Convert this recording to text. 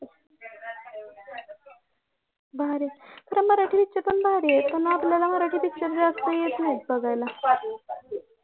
भारी खरं मराठी picture पण भारी आहेत पण आपल्याला मराठी picture जास्त येत नाहीत बघायला